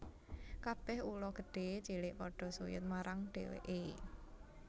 Kabèh ula gedhé cilik padha suyud marang dhèwèké